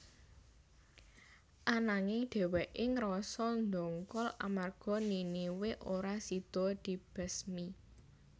Ananging dhèwèké ngrasa ndongkol amarga Niniwe ora sida dibesmi